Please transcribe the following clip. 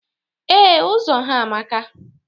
Ee, Ụzọ ha amaka.